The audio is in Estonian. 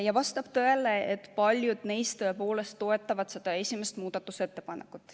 Ja vastab tõele, et paljud neist toetavad seda esimest muudatusettepanekut.